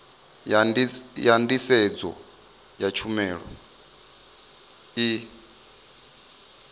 ya nḓisedzo ya tshumelo i